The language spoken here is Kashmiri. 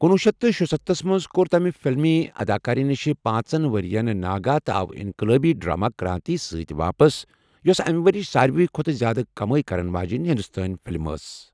کُنوُہ شیتھ تہٕ شُستَتھس منٛز كو٘ر تمہِ فلمی اداكٲری نِشہِ پانژن ورِیَن ناگہٕ تہٕ آو انقلٲبی ڈرامہ کرانتی سۭتۍ واپس، یوٚسہٕ امہِ ورِیٕچہِ سارِوی کھوتہٕ زیادٕ کمٲے کرن واجٮ۪ن ہندوستٲنۍ فلم ٲس ۔